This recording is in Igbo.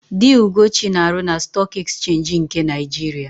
Di Ugochi na-arụ na Stọọk Ekchenji nke Naịjiria.